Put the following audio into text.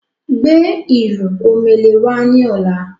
Gbé ìlù omele wá ni ọ̀la!